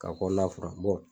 Ka kɔnɔna furan